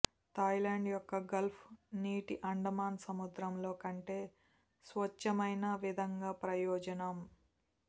Thailand యొక్క gulf నీటి అండమాన్ సముద్రంలో కంటే స్వచ్చమైన విధంగా ప్రయోజనం